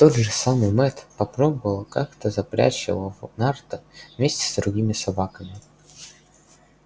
тот же самый мэтт попробовал как-то запрячь его в нарты вместе с другими собаками